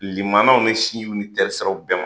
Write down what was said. Limanaw ni sinjiw ni terisiraraw bɛɛ ma.